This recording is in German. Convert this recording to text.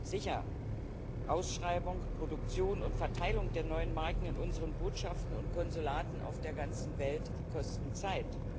Sicher Ausschreibung, Produktion und Verteilung der neuen Marken in unseren Botschaften und Konsulaten auf der ganzen Welt kosten Zeit.